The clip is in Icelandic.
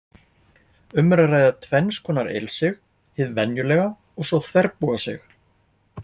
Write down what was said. Um er að ræða tvenns konar ilsig, hið venjulega og svo þverbogasig.